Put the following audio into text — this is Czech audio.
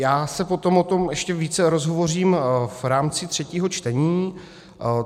Já se potom o tom ještě více rozhovořím v rámci třetího čtení.